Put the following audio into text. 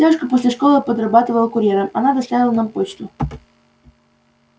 девушка после школы подрабатывала курьером она доставила нам почту